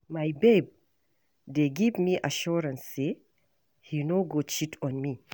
My babe dey give me assurance say he no go cheat on me.